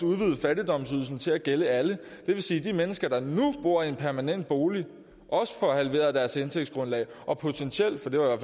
udvide fattigdomsydelsen til at gælde alle det vil sige at de mennesker der nu bor i en permanent bolig også får halveret deres indtægtsgrundlag og potentielt for det var